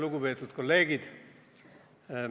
Lugupeetud kolleegid!